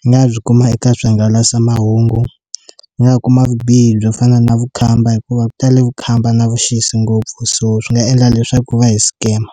yi nga byi kuma eka swihangalasamahungu ni nga kuma vubihi byo fana na vukhamba hikuva ku tale vukhamba na vuxisi ngopfu so swi nga endla leswaku va hi scammer.